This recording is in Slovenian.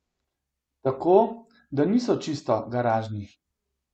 Tako, da niso čisto garažni.